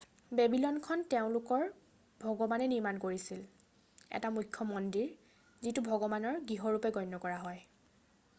বেবিলনখন তেওঁলোকৰ ভগৱানে নিৰ্মাণ কৰিছিল এটা মুখ্য মন্দিৰ যিটো ভগৱানৰ গৃহ হিচাপে গণ্য কৰা হয়